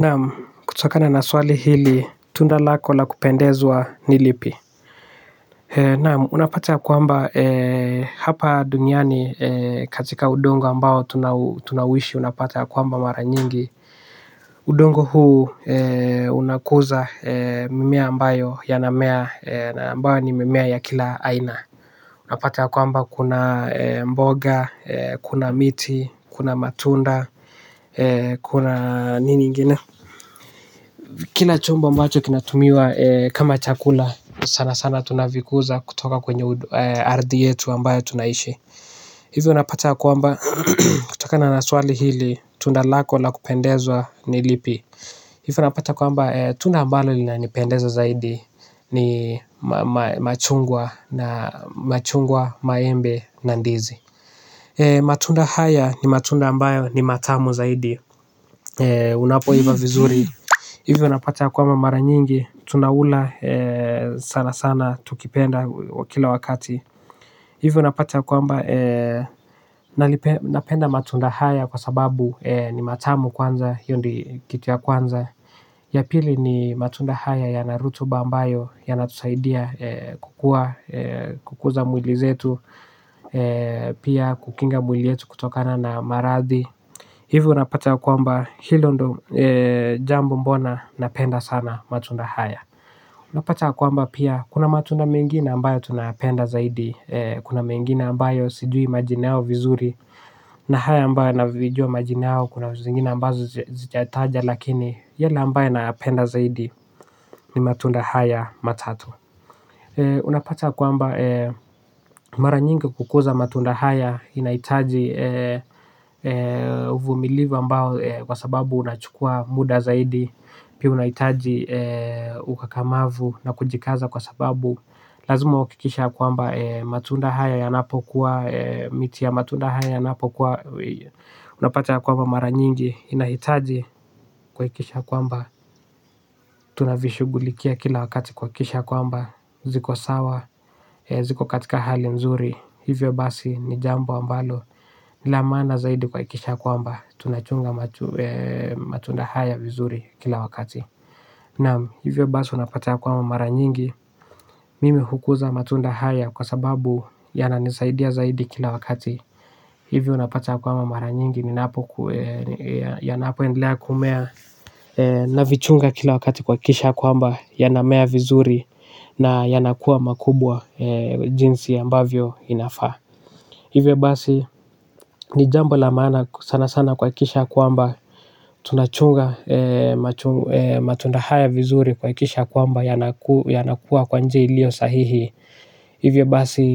Naam, kutokana na swali hili, tunda lako la kupendezwa ni lipi. Naam, unapata ya kwamba hapa duniani katika udongo ambao tunauishi unapata ya kwamba mara nyingi udongo huu unakuza mimea ambayo yanamea na ambayo ni mimea ya kila aina. Unapata ya kwamba kuna mboga, kuna miti, kuna matunda, kuna nini ingine. Kila chombo ambacho kinatumiwa kama chakula sana sana tunavikuza kutoka kwenye ardhi yetu ambayo tunaishi. Hivyo napata kwamba kutokana na swali hili tunda lako la kupendezwa ni lipi. Hivyo napata kwamba tunda ambalo linanipendeza zaidi ni machungwa na machungwa maembe na ndizi. Matunda haya ni matunda ambayo ni matamu zaidi unapoiva vizuri. Hivi unapata ya kwamba mara nyingi tunaula sana sana tukipenda kila wakati. Hivyo napata ya kwamba, napenda matunda haya kwa sababu ni matamu kwanza, hiyo ndio kitu ya kwanza. Ya pili ni matunda haya yana rutuba ambayo yanatusaidia kukuza mwili zetu. Pia kukinga mwili yetu kutokana na maradhi. Hivyo unapata ya kwamba hilo ndio jambo mbona napenda sana matunda haya. Unapata kwamba pia kuna matunda mengine ambayo tunayapenda zaidi. Kuna mengine ambayo sijui majina yao vizuri na haya ambayo navijua majina yao kuna vitu zingine ambazo zijataja. Lakini yale ambayo napenda zaidi ni matunda haya matatu. Unapata ya kwamba mara nyingi kukuza matunda haya inahitaji uvumilivu ambao kwa sababu unachukua muda zaidi pia unahitaji ukakamavu na kujikaza kwa sababu lazima uhakikisha ya kwamba matunda haya yanapokuwa miti ya matunda haya yanapokuwa unapata ya kwamba mara nyingi inahitaji kuhakikisha kwamba tunavishughulikia kila wakati kuhakikisha kwamba ziko sawa, ziko katika hali nzuri. Hivyo basi ni jambo ambalo ni la maana zaidi kuhakikisha kwamba tunachunga matunda haya vizuri kila wakati. Na hivyo basi unapata ya kwamba mara nyingi. Mimi hukuza matunda haya kwa sababu yananisaidia zaidi kila wakati. Hivi unapata kwamba mara nyingi yanapoendelea kumea. Navichunga kila wakati kuhakikisha ya kwamba yanamea vizuri. Na yanakua makubwa jinsi ambavyo inafaa. Hivyo basi ni jambo la maana sana sana kuhakikisha ya kwamba tunachunga matunda haya vizuri kuhakikisha kwamba yanakuwa kwa njia iliyo sahihi. Hivyo basi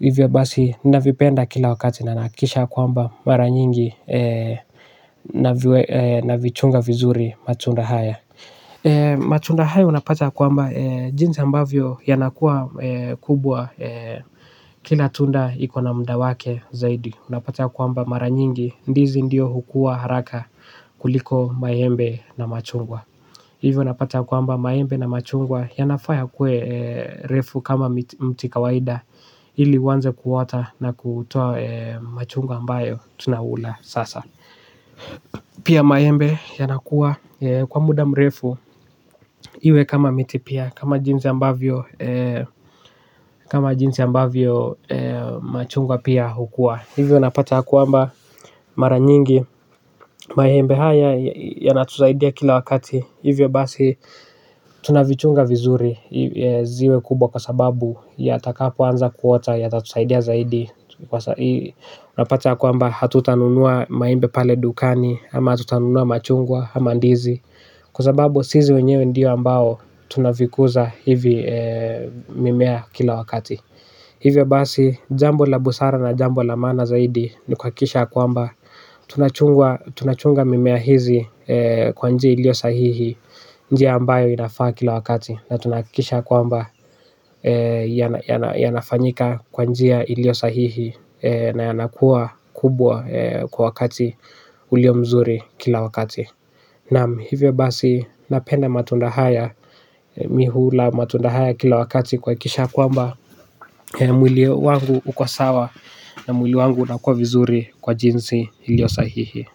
hivyo basi na vipenda kila wakati na nahakikisha ya kwamba mara nyingi na vichunga vizuri matunda haya. Matund haya unapata ya kwamba jinsi ambavyo yanakua kubwa kila tunda iko na muda wake zaidi. Unapata ya kwamba mara nyingi ndizi ndio hukua haraka kuliko maembe na machungwa. Hivyo unapata ya kwamba maembe na machungwa yanafaa yakue refu kama mti kawaida ili uanze kuota na kutoa machungwa ambayo tunakula sasa. Pia maembe yanakua kwa muda mrefu iwe kama miti pia kama jinsi ambavyo machungwa pia hukua. Hivyo unapata ya kwamba mara nyingi maembe haya yanatusaidaia kila wakati. Hivyo basi tunavichunga vizuri ziwe kubwa kwa sababu yatakapoanza kuota yatatusaidia zaidi. Napata ya kwamba hatutanunua maembe pale dukani ama hatutanunua machungwa ama ndizi kwa sababu sisi wenyewe ndio ambao tunavikuza hivi mimea kila wakati. Hivyo basi jambo la busara na jambo la maana zaidi ni kuhakikisha ya kwamba tunachunga mimea hizi kwa njia iliyo sahihi. Njia ambayo inafaa kila wakati na tunahakikisha ya kwamba yanafanyika kwa njia iliyo sahihi na yanakuwa kubwa kwa wakati uliyo mzuri kila wakati. Naam, hivyo basi napenda matunda haya mi hula matunda haya kila wakati kuhakikisha ya kwamba mwili wangu uko sawa na mwili wangu unakua vizuri kwa jinsi iliyo sahihi.